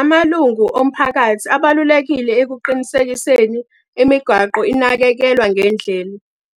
Amalungu omphakathi abalulekile ekuqinisekiseni imigwaqo inakekelwa ngendlela.